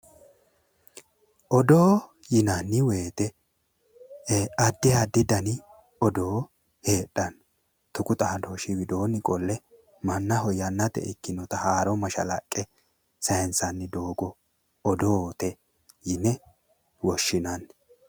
Odoo yinanni woyiite addi addi dani odoo heedhanno. tuqu xaadooshshi widoonni qolle mannaho yannate ikkinota haaro mashalaqqe saayinsanni doogo odoote yine woshshinanni.